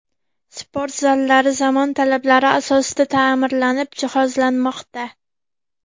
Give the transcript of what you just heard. Sport zallari zamon talablari asosida ta’mirlanib, jihozlanmoqda.